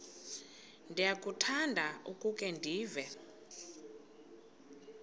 ndiyakuthanda ukukhe ndive